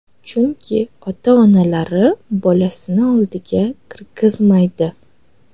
Chunki ota-onalari bolasini oldiga kirgizmaydi.